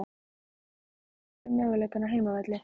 Hvernig metur Óli möguleikana á heimavelli?